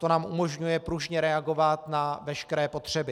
To nám umožňuje pružně reagovat na veškeré potřeby.